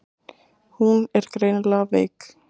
Hún er greinilega veik.